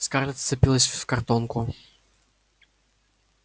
скарлетт вцепилась в картонку